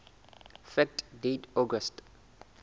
fact date august